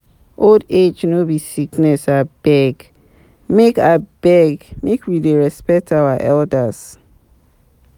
Old age no be sickness, abeg, make abeg, make we dey respect our elders.